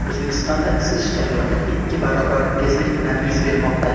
O‘zbekistonda isish jarayoni ikki barobar tezlik bilan yuz bermoqda.